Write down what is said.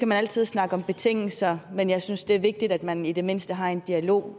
man altid snakke om betingelser men jeg synes det er vigtigt at man i det mindste har en dialog